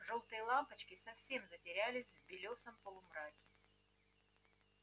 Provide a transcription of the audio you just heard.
жёлтые лампочки совсем затерялись в белёсом полумраке